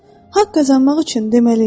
Haqq qazanmaq üçün deməliyəm.